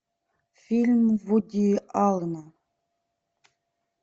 фильм вуди аллена